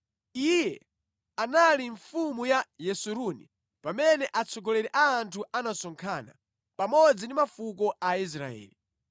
Iye anali mfumu ya Yesuruni pamene atsogoleri a anthu anasonkhana, pamodzi ndi mafuko a Israeli.